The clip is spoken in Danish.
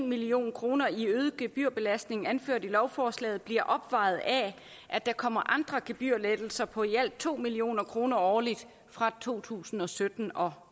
million kroner i øget gebyrbelastning anført i lovforslaget bliver opvejet af at der kommer andre gebyrlettelser på i alt to million kroner årligt fra to tusind og sytten og